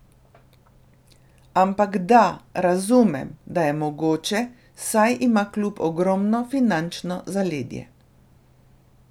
Ampak da, razumem, da je mogoče, saj ima klub ogromno finančno zaledje.